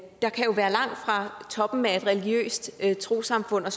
der kan være langt fra toppen af et religiøst trossamfund og